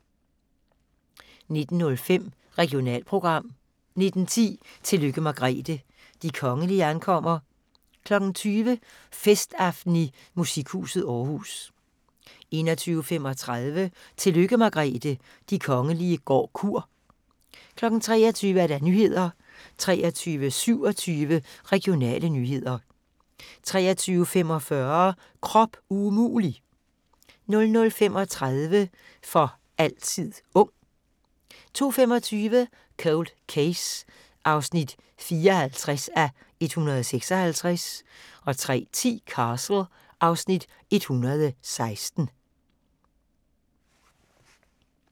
19:05: Regionalprogram 19:10: Tillykke Margrethe – de kongelige ankommer 20:00: Festaften i Musikhuset Aarhus 21:35: Tillykke Margrethe – de kongelige går kur 23:00: Nyhederne 23:27: Regionale nyheder 23:45: Krop umulig! 00:35: For altid ung 02:25: Cold Case (54:156) 03:10: Castle (Afs. 116)